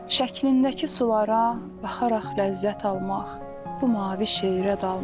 Şəklindəki sulara baxaraq ləzzət almaq, bu mavi şeyrə dalmaq.